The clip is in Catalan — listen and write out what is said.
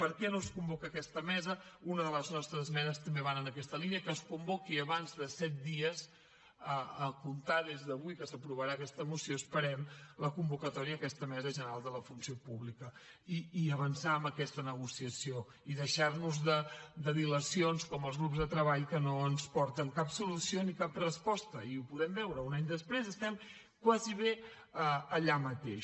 per què no es convoca aquesta mesa una de les nostres esmenes també va en aquesta línia que es convoqui abans de set dies a comptar des d’avui que s’aprovarà aquesta moció esperem la convocatòria d’aquesta mesa general de la funció pública i avançar en aquesta negociació i deixar nos de dilacions com els grups de treball que no ens porten cap solució ni cap resposta i ho podem veure un any després estem gairebé allà mateix